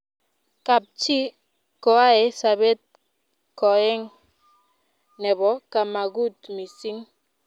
kab chi koae sabet koeng nebo kamagut mising